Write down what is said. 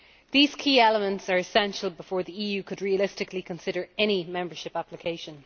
These key elements are essential before the EU could realistically consider any membership application.